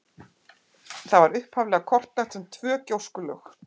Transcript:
Það var upphaflega kortlagt sem tvö gjóskulög.